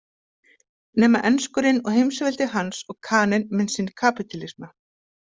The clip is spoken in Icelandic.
Nema enskurinn og heimsveldi hans og Kaninn með sinn kapítalisma.